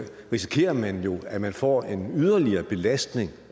risikerer man jo at man får en yderligere belastning